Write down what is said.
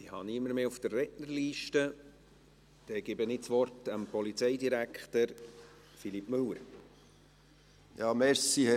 Ich habe niemanden mehr auf der Rednerliste, dann gebe ich das Wort dem Polizeidirektor: Philippe Müller.